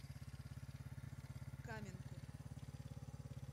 каменку